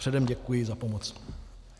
Předem děkuji za pomoc.